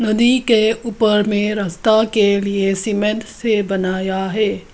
नदी के ऊपर में रास्ता के लिए सीमेंट से बनाया है।